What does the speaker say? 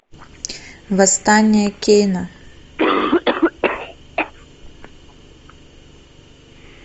восстание кейна